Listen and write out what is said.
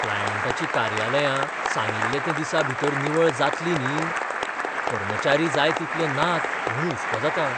क्लायंटांचीं कार्यालयां सांगिल्ल्या त्या दिसांभीतर निवळ जातलीं न्ही? कर्मचारी जाय तितले नात म्हूण हुस्को जाता.